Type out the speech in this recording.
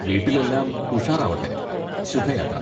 വീട്ടിൽ എല്ലാം ഉഷാറാവട്ടെ, ശുഭയാത്ര.